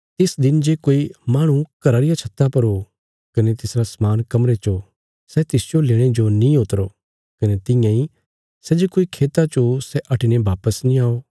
तिस दिन जे कोई माहणु घरा रिया छत्ता पर ओ कने तिसरा समान कमरे च ओ सै तिसजो लेणे जो नीं उतरो कने तियां इ सै जे कोई खेता च ओ सै हटिने वापस नीं आओ